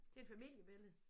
Det er et familiebillede